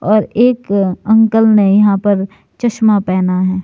और एक अंकल ने यहां पर चश्मा पहना है।